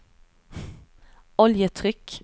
oljetryck